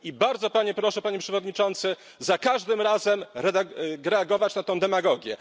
I bardzo Pana proszę, Panie Przewodniczący, za każdym razem reagować na tę demagogię.